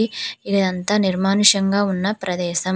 ఇదంతా నిర్మానుష్యంగా ఉన్న ప్రదేశం.